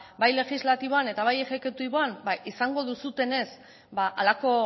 ba bai legislatiboan eta bai exekutiboan izango duzuenez halako